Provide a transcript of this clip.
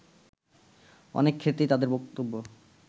অনেক ক্ষেত্রেই তাদের বক্তব্য